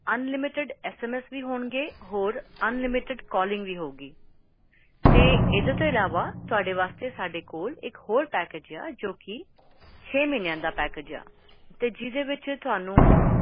unlimited smsunlimited calling